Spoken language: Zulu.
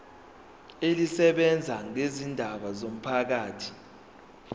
elisebenza ngezindaba zomphakathi